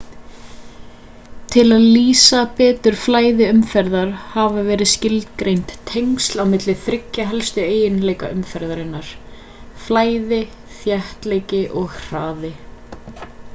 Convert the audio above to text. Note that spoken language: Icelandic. tiil að lýsa betur flæði umferðar hafa verið skilgreind tengsl á milli þriggja helstu eiginleika umferðar: 1 flæði 2 þéttleiki og 3 hraði